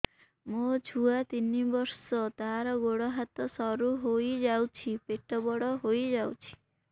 ମୋ ଛୁଆ ତିନି ବର୍ଷ ତାର ଗୋଡ ହାତ ସରୁ ହୋଇଯାଉଛି ପେଟ ବଡ ହୋଇ ଯାଉଛି